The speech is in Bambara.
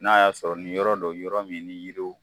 N'a y'a sɔrɔ ni yɔrɔ don yɔrɔ min ni yiri